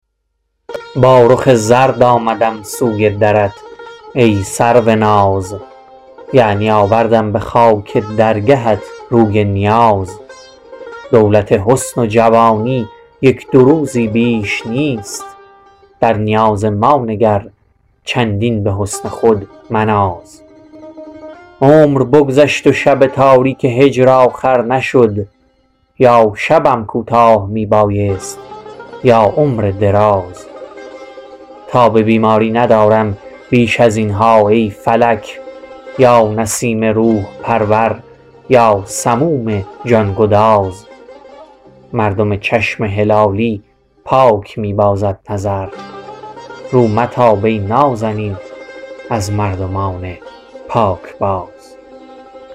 با رخ زرد آمدم سوی درت ای سروناز یعنی آوردم بخاک درگهت روی نیاز دولت حسن و جوانی یک دو روزی بیش نیست در نیاز ما نگر چندین بحسن خود مناز عمر بگذشت و شب تاریک هجر آخر نشد یا شبم کوتاه می بایست یا عمرم دراز تاب بیماری ندارم بیش ازینها ای فلک یا نسیم روح پرور یا سموم جان گداز مردم چشم هلالی پاک می بازد نظر رو متاب ای نازنین از مردمان پاکباز